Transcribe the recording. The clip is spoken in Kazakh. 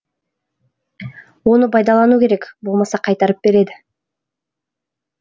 оны пайдалану керек болмаса қайтарып береді